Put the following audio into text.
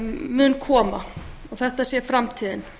muni koma og þetta sé framtíðin